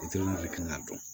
kan ka dɔn